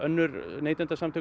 neytendasamtök